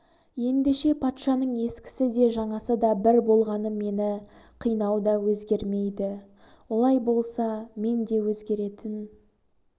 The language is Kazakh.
ендеше патшаның ескісі де жаңасы да бір болғаны мені қинау да өзгермейді олай болса менде өзгеретін